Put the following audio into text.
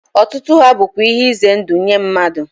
Otutu ha bukwa ihe ize ndu nye mmadu